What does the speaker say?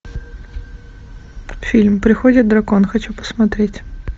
фильм приходит дракон хочу посмотреть